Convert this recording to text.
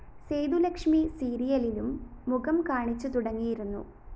സേതുലക്ഷ്മി സീരിയലിലും മുഖം കാണിച്ചുതുടങ്ങിയിരുന്നു